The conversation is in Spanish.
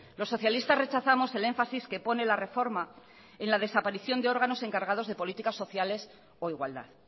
los socialistas rechazamos el énfasis que pone la reforma en la desaparición de órganos encargados de políticas sociales o igualdad